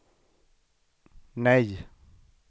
nej